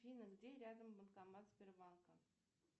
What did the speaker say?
афина где рядом банкомат сбербанка